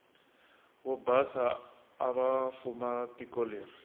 vobhasa avafuma tikoleri